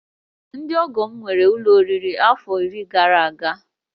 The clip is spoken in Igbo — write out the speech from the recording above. Ndị ọgọ m nwere ụlọ oriri afọ iri gara aga